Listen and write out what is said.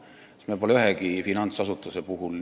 Me pole seda teinud ühegi finantsasutuse puhul.